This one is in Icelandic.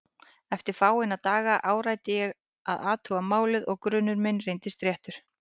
Eftir fáeina daga áræddi ég að athuga málið og grunur minn reyndist réttur.